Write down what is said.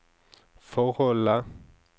forholdene